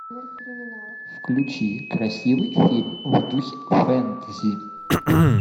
включи красивый фильм в духе фэнтези